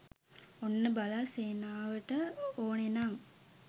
ඔන්න බල සේනාවට ඕනෙනං